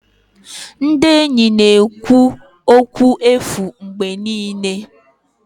Ndị enyi na-ekwu okwu efu mgbe niile.